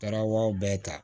Taraw bɛɛ ta